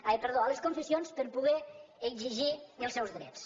ai perdó a les confessions per poder exigir els seus drets